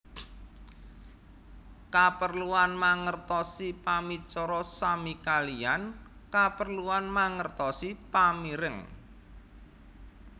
Kaperluan mangertosi pamicara sami kaliyan kaperluan mangertosi pamireng